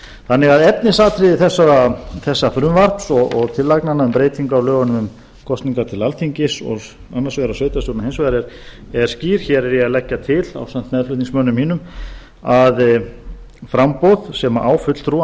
þannig að efnisatriði þessa frumvarps og tillagnanna um breytingu á lögum um kosningu til alþingis og annars vegar á sveitarstjórnum hins vegar er skýr hér er ég að leggja til ásamt meðflutningsmönnum mínum að framboð sem á fulltrúa